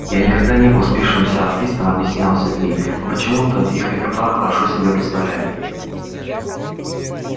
я никогда не был спившимся артистом объяснял сергей но почему-то их репертуар хорошо себе представляю